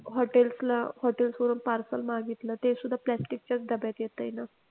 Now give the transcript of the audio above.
hotels ला hotels वरून parcel मागितलं ते सुद्धा plastic च्याच डब्यात येतंय ना.